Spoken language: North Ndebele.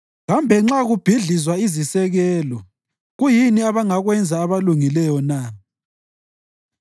Kambe nxa kubhidlizwa izisekelo, kuyini abangakwenza abalungileyo na?”